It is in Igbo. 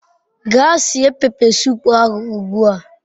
Gaa sie pepe sup ahu ugbua